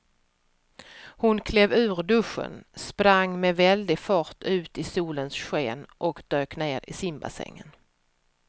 Hon klev ur duschen, sprang med väldig fart ut i solens sken och dök ner i simbassängen.